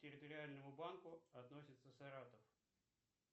территориальному банку относится саратов